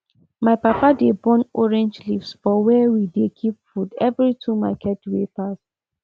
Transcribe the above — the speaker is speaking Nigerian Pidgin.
my papa dey burn orange leaves for where we dey keep food every two market wey pass